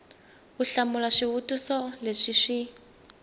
u hlamula swivutiso leswi swi